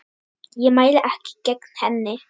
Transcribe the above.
Ég mæli ekki gegn henni.